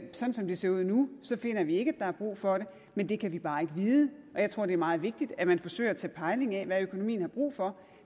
sådan som det ser ud nu finder vi ikke at der er brug for det men det kan vi bare ikke vide jeg tror det er meget vigtigt at man forsøger at tage pejling af hvad økonomien har brug for